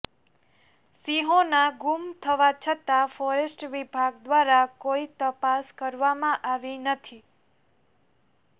સિંહોના ગુમ થવા છતા ફોરેસ્ટ વિભાગ દ્વારા કોઇ તપાસ કરવામાં આવી નથી